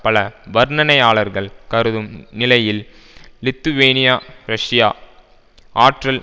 பல வர்ணனையாளர்கள் கருதும் நிலையில் லித்துவேனியா ரஷ்யா ஆற்றல்